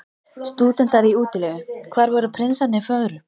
Stúdentar í útilegu: hvar voru prinsarnir fögru?